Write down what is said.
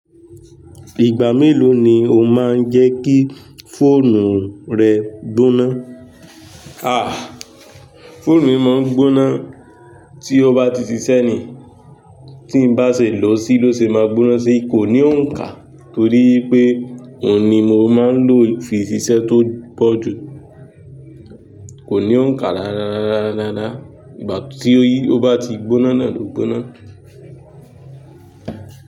Ìgbà mélòó ni o máa ń jẹ́ kí fóònù rẹ gbóná? Àh, fóònù mi máa ń gbóná tí ó bá ti ṣiṣẹ́ ni. Tín bá ṣe lòó sí ló ṣe máa gbóná si, kò ní òǹkà torí pé òun ni mo máa ń lò fi ṣiṣẹ́ tó pọ̀ jù. Kò ní òǹkà rárárara rararara, ìgbà tí ó yí, tó bá ti gbóná náà ló gbóná.